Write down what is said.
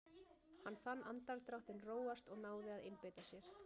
Hann fann andardráttinn róast og náði að einbeita sér.